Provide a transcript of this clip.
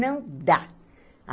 Não dá.